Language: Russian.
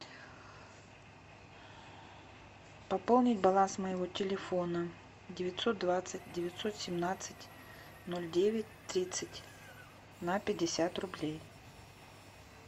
пополнить баланс моего телефона девятьсот двадцать девятьсот семнадцать ноль девять тридцать на пятьдесят рублей